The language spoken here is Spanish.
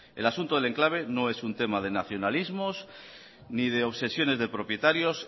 el asunto del enclave no es un tema de nacionalismos ni de obsesiones de propietarios